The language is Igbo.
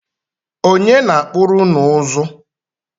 Ọnye na-akpụrụ ụnụ ụzụ?